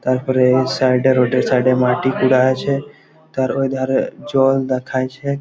তারপরে এই সাইড -এর রোড -এ সাইড -এ মাটি কুড়া আছে। তার ওই ধারে জল দেখাইছে--